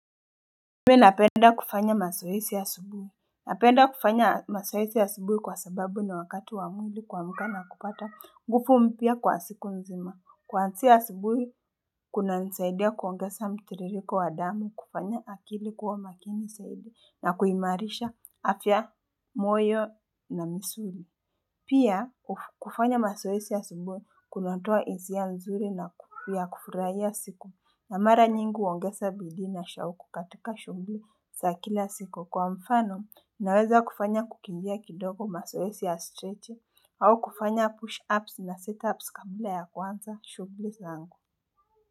Mi napenda kufanya mazoezi asubuhi, napenda kufanya masoesi ya subuhi kwa sababu na wakati wamwili kwa mkana kupata ngufu mpya kwa siku nzima, kuansia subuhi kuna nsaidia kuongesa mtiririko wa damu, kufanya akili kuwa makini saidi na kuhimarisha afya moyo na misuri Pia kufanya masoesi asubui kunotua isia nzuri na nguvu ya kufuraya siku na mara nyingu wongesa bidina shaukukatika shumbli za kila siku kwa mfano naweza kufanya kukimbia kidogo masoesi ya stretch au kufanya push ups na setups kabla ya kwanza shugli zangu.